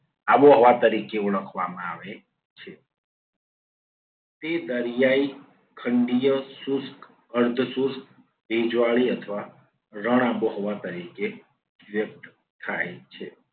આબોહવા તરીકે ઓળખવામાં આવે છે. તે દરિયાઈ, ખંડીય, શુષ્ક, અર્ધ શુષ્ક, ભેજવાળી અથવા રણ આબોહવા તરીકે વ્યક્ત થાય છે.